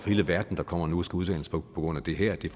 hele verden der kommer nu og skal uddannes på grund af det her det er